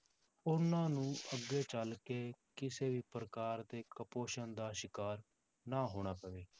ਉਹਨਾਂ ਨੂੰ ਅੱਗੇ ਚੱਲ ਕੇ ਕਿਸੇ ਵੀ ਪ੍ਰਕਾਰ ਦੇ ਕੁਪੋਸ਼ਣ ਦਾ ਸ਼ਿਕਾਰ ਨਾ ਹੋਣਾ ਪਵੇ।